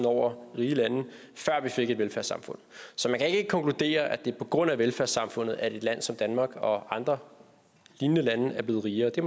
over rige lande før vi fik et velfærdssamfund så man kan ikke konkludere at det er på grund af velfærdssamfundet at et land som danmark og andre lignende lande er blevet rigere det